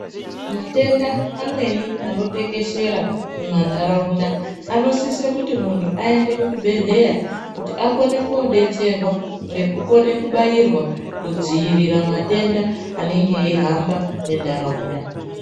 Matenda amweni anotekeshera mumanharaunda anosise kuti muntu aende kuchibhedleya kuti akone koodetserwa. Ngekukone kubairwa kudzivirira matenda anenge eihamba munharaunda.